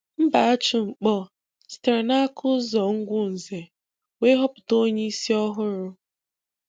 Mbachu Nkpor sitere n'aka Ụzọ Ugwunze, wee họpụta onyeisi ọhụrụ.